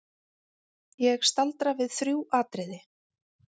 Ég staldra við þrjú atriði.